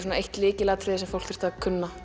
lykilatriði fyrir fólk að